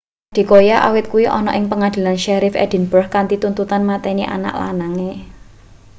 adekoya awit kuwi ana ing pengadilan sheriff edinburgh kanthi tuduhan mateni anak lanange